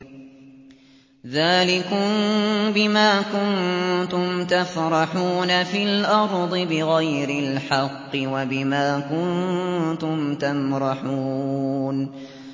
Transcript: ذَٰلِكُم بِمَا كُنتُمْ تَفْرَحُونَ فِي الْأَرْضِ بِغَيْرِ الْحَقِّ وَبِمَا كُنتُمْ تَمْرَحُونَ